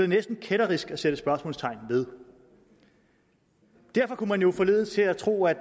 næsten kætterisk at sætte spørgsmålstegn ved derfor kunne man jo forledes til at tro at